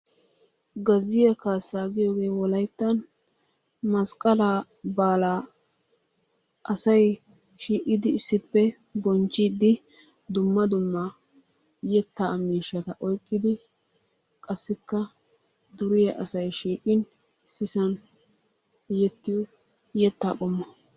Gazziyaa kaassa giyooge wolayttan masqqaala baala asay shiiqidi issippe bonchchiidi dumma dumma yetta miishshata oyqqidi qassikka duriya asay shiiqqin issisan yettiyo yettaa qommo.